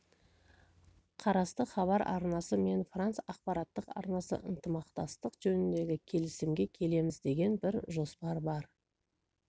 қарасты хабар арнасы мен франс ақпараттық арнасы ынтымақтастық жөніндегі келісімге келеміз деген бір жоспар бар